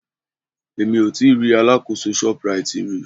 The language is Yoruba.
Mi ò tíì rí alákòóso Shoprite rí.